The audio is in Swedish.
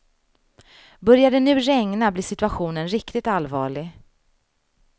Börjar det nu regna blir situationen riktigt allvarlig.